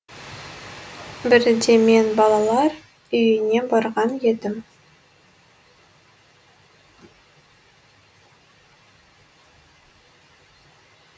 бірде мен балалар үйіне барған едім